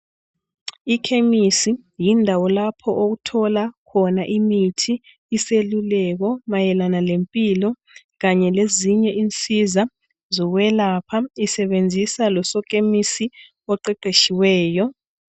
Ikhemisi yindawo lapho okutholakala khona imithi, iseluleko mayelana lempilo kanye kanye lezinye insiza zokwelapha besebenzisa losokhemisi oqeqetshiweyo.